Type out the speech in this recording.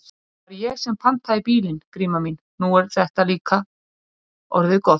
Það var ég sem pantaði bílinn, Gríma mín, nú er þetta líka orðið gott.